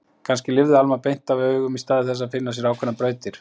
Kannski lifði Alma beint af augum í stað þess að finna sér ákveðnar brautir.